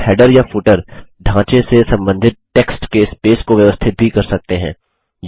आप हैडर या फुटर ढाँचे से संबंधित टेक्स्ट के स्पेस को व्यवस्थित भी कर सकते हैं